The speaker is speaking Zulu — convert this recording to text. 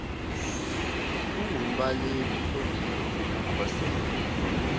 ungumbaleki odinge ukukhosela